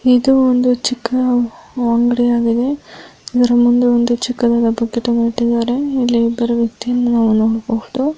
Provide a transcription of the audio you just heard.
ಇದು ಒಂದು ಚಿಕ್ಕ ಅಂಗಡಿ ಆಗಿದೆ ಇದರ ಮುಂದೆ ಒಂದು ಚಿಕ್ಕದಾದಂಥ ಗಿಡ ನೆಟ್ಟಿದಾರೆ. ಇಲ್ಲಿ ಇಬ್ಬರು ವ್ಯಕ್ತಿ ಯನ್ನು ನಾವು ನೋಡಬಹುದು.